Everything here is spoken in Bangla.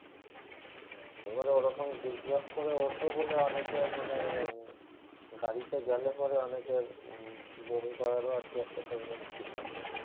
এবারে ওরকম zig zag করে ওঠে বলে অনেকের মানে গাড়িতে গেলে পরে অনেকের উম বমি করারো আরকি একটা tendency থাকে।